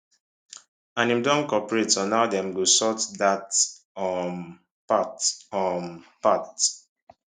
and im don cooperate on how dem go sort dat um part um part